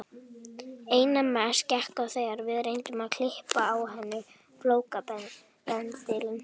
Einna mest gekk á þegar við reyndum að klippa á henni flókabendilinn.